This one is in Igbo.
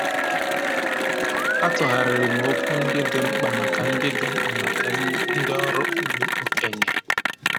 A tụgharịrị m okwu ndị dị mkpa maka dị mkpa maka ndị ọrụ ugbo okenye.